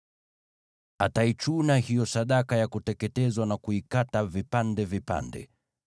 Ataichuna hiyo sadaka ya kuteketezwa na kuikata vipande vipande.